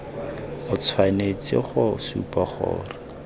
o tshwanetse go supa gore